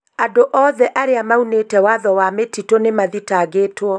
Andũ oothe arĩa maunĩte watho wa mĩtitũ nĩ mathitangĩtwo